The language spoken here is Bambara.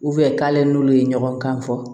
k'ale n'olu ye ɲɔgɔn kan fɔ